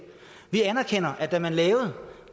vi anerkender at da man lavede